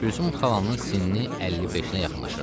Gülsüm xalanın sinni 55-nə yaxınlaşırdı.